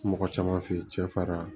Mɔgɔ caman fɛ yen cɛ fara